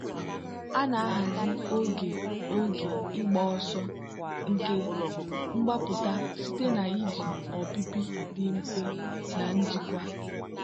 a na-ahazi oge oge ịgba ọsọ nke mgbapụta site na iji ọpịpị dị mfe na njikwa.